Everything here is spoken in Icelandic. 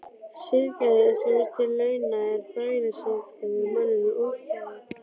Siðgæði sem sér til launa er þrælasiðgæði og manninum ósamboðið.